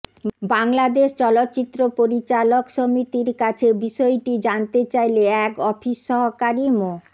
বাংলাদেশ চলচ্চিত্র পরিচালক সমিতির কাছে বিষয়টি জানতে চাইলে এক অফিস সহকারী মো